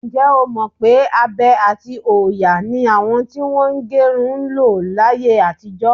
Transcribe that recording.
Ǹjẹ́́ o mọ̀ pé abe àti òòyà ni àwọn tí wọ́n ń gẹrun ń lo láyé àtijọ?